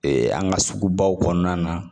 an ka sugu baw kɔnɔna na